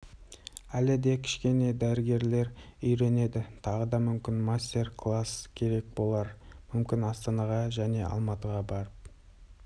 әлі де кішкене дәрігерлер үйренеді тағы да мүмкін мастер-класс керек болар мүмкін астанаға және алматыға барып